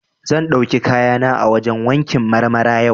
Zan ɗauki kayana a wajen wankin Marmara yau.